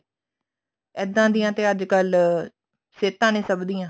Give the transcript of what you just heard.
ਇੱਦਾਂ ਦੀਆਂ ਤੇ ਅੱਜਕਲ ਸਹਿਤਾਂ ਸਭ ਦੀਆਂ